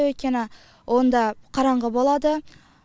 өйткені онда қараңғы болады